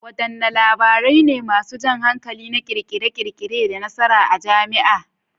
Wadanne labarai ne masu jan hankali na kirkire-kirkire da nasara a jami'a?